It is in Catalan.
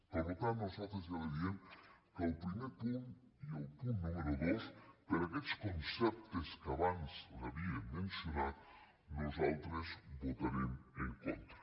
per tant nosaltres ja li diem que al primer punt i al punt número dos per aquests conceptes que abans li ha·via mencionat nosaltres votarem en contra